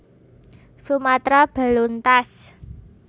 Sumatra beluntas